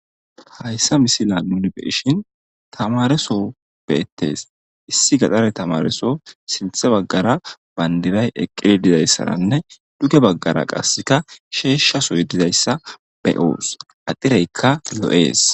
Hayssa misila nuni be7ishin tamareso beettees .issi gaxare tamareso sinthe baggara banddiray eqqidi dizayssaranne duge baggara qasseka sheeshshasoy dizayssa be7oos adireykka lo7ees.